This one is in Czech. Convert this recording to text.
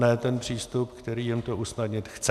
Ne ten přístup, který jim to usnadnit chce.